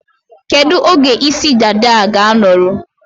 Kedu oge isi dada a ga-anọrụ?